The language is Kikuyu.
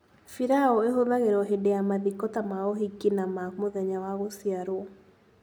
Pilau ĩhũthagĩrwo hĩndĩ ya mathiko ta ma ũhiki na ma mũthenya wa gũciarwo.